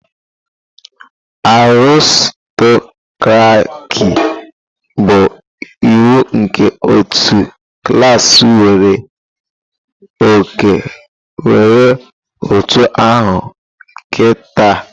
Aristokraki bụ iwu nke otu klaasị nwere oke nwere utu aha nketa.